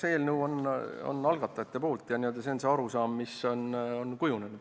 See eelnõu on pärit algatajatelt ja selline on see arusaam, mis on kujunenud.